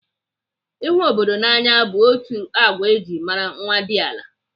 Ịhụ obodo n'anya bụ otu n'ime agwa eji mara nwadiala.